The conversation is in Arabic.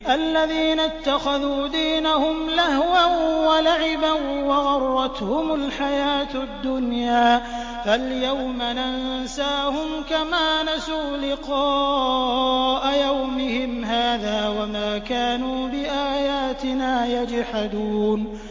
الَّذِينَ اتَّخَذُوا دِينَهُمْ لَهْوًا وَلَعِبًا وَغَرَّتْهُمُ الْحَيَاةُ الدُّنْيَا ۚ فَالْيَوْمَ نَنسَاهُمْ كَمَا نَسُوا لِقَاءَ يَوْمِهِمْ هَٰذَا وَمَا كَانُوا بِآيَاتِنَا يَجْحَدُونَ